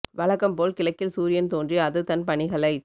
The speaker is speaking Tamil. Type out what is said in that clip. வழக்கம் போல் கிழக்கில் சூரியன் தோன்றி அது தன் பணிகளைச்